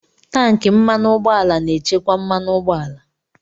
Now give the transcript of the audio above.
Tanki mmanụ ụgbọala na-echekwa mmanụ ụgbọala